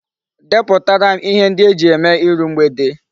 Deputara m ihe ndi eji eme iru mgbede